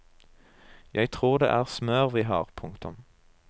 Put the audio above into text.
Jeg tror det er smør vi har. punktum